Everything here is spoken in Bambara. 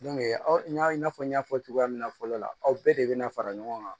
n y'a i n'a fɔ n y'a fɔ cogoya min na fɔlɔ la aw bɛɛ de bɛna fara ɲɔgɔn kan